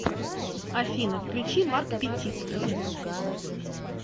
афина включи марк петит